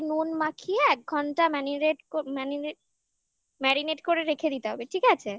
নুন মাখিয়ে এক ঘন্টা marinate marinate marinate করে রেখে দিতে হবে ঠিক আছে